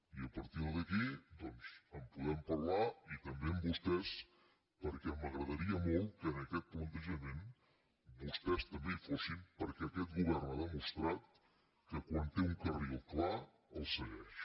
i a partir d’aquí doncs en podem parlar i també amb vostès perquè m’agradaria molt que en aquest plantejament vostès també hi fossin perquè aquest govern ha demostrat que quan té un carril clar el segueix